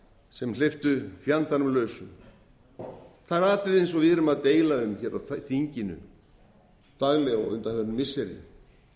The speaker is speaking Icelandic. sem hleyptu fjandanum lausum það er atriði eins og við erum að deila um hér á þinginu daglega á undanförnum missirum